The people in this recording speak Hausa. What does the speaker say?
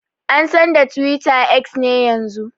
An San da Twitter X ne yanzun.